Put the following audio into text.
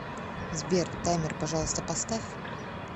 сбер таймер пожалуйста поставь